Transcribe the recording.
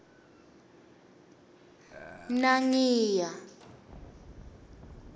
nangiya